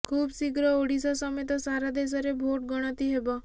ଖୁବ ଶୀଘ୍ର ଓଡ଼ିଶା ସମେତ ସାରା ଦେଶରେ ଭୋଟ୍ ଗଣତି ହେବ